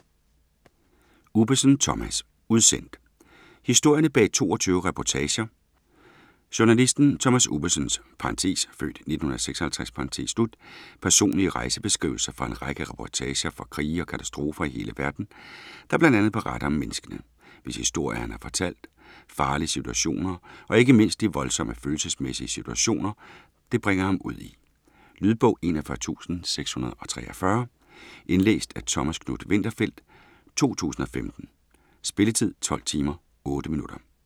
Ubbesen, Thomas: Udsendt Historierne bag 22 reportager. Journalisten Thomas Ubbesens (f. 1956) personlige rejsebeskrivelser fra en række reportager fra krige og katastrofer i hele verden, der bl.a. beretter om menneskene, hvis historie han har fortalt, farlige situationer og ikke mindst om de voldsomme følelsesmæssige situationer, det bringer ham ud i. Lydbog 41643 Indlæst af Thomas Knuth-Winterfeldt, 2015. Spilletid: 12 timer, 8 minutter.